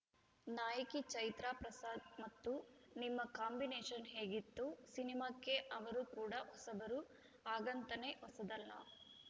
ನಾಯಕಿ ಚೈತ್ರಾ ಪ್ರಸಾದ್‌ ಮತ್ತು ನಿಮ್ಮ ಕಾಂಬಿನೇಷನ್‌ ಹೇಗಿತ್ತು ಸಿನಿಮಾಕ್ಕೆ ಅವರು ಕೂಡ ಹೊಸಬರು ಹಾಗಂತ ನೆ ಹೊಸದಲ್ಲ